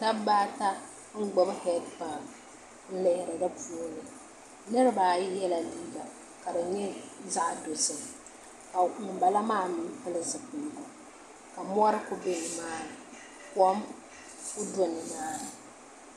Dabba ata n gbuni heed pai n lihiri di puuni niraba ayi yɛla liiga ka di nyɛ zaɣ dozim ka ŋunbala maa mii pili zipiligu ka mori ku bɛ nimaani kom kuli do nimaani